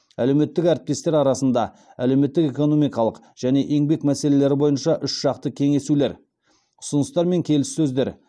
әлеуметтік әріптестер арасында әлеуметтік экономикалық және еңбек мәселелері бойынша үшжақты кеңесулер ұсыныстар мен келіссөздер